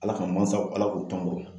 Ala ka mansaw, Ala k'u t'an bolo